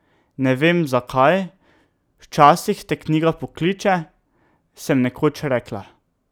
Ne vem, zakaj, včasih te knjiga pokliče, sem nekoč rekla.